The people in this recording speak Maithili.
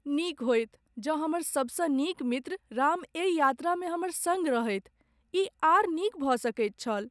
नीक होइत जँ हमर सबसँ नीक मित्र राम एहि यात्रामे हमर सङ्ग रहैत। ई आर नीक भऽ सकैत छल।